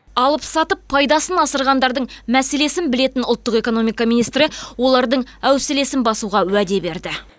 алып сатып пайдасын асырғандардың мәселесін білетін ұлттық экономика министрі олардың әуселесін басуға уәде берді